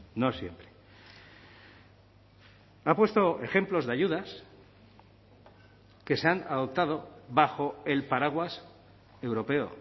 no siempre ha puesto ejemplos de ayudas que se han adoptado bajo el paraguas europeo